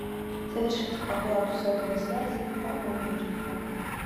совершить оплату сотовой связи по номеру телефона